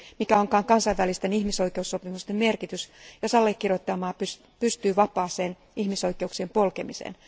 Mikä onkaan kansainvälisten ihmisoikeussopimusten merkitys, jos allekirjoittajamaa pystyy vapaaseen ihmisoikeuksien polkemiseen.